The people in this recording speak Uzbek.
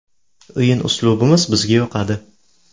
O‘yin uslubimiz bizga yoqadi.